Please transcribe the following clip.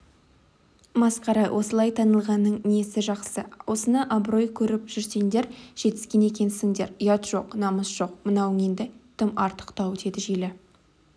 масқара осылай танылғанның несі жақсы осыны абырой көріп жүрсеңдер жетіскен екенсіңдер ұят жоқ намыс жоқ мынауың енді тым артықтау деді желі